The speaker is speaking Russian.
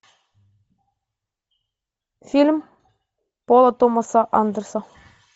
фильм пола томаса андерса